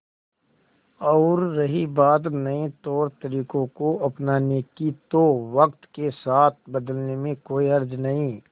और रही बात नए तौरतरीकों को अपनाने की तो वक्त के साथ बदलने में कोई हर्ज नहीं